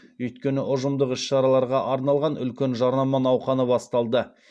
өйткені ұжымдық іс шараларға арналған үлкен жарнама науқаны басталды